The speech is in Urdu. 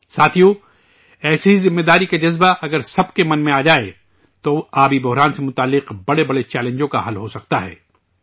ساتھیو، ایسی ہی ذمہ داری کا جذبہ اگر سب کے من میں آ جائے تو، آبی بحران سے جڑے بڑے سے بڑے چیلنج کا حل ہو سکتا ہے